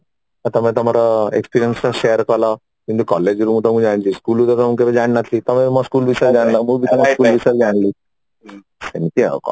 ତମେ ତମର experience ସବୁ share କଲ ଯେମିତି college ରୁ ମୁଁ ତମକୁ ଜାଣିଛି school ବିଷୟରେ ମୁଁ ତ କେବେ ଜାଣି ନଥିଲି ତମେ ମୋ school ବିଷୟରେ ଜାଣିଲ ମୁଁ ବି ତମ school ବିଷୟରେ ଜାଣିଲି ସେମିତି ଆଉ କଣ